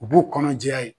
U b'u kɔnɔ jɛya ye